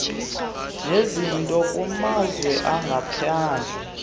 nezinto kumazwe angaphandle